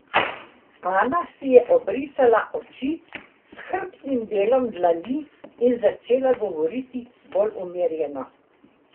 Ana si je obrisala oči s hrbtnim delom dlani in začela govoriti bolj umerjeno.